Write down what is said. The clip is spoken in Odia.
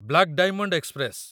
black diamond express